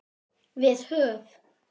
Við höf